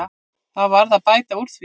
Það varð að bæta úr því.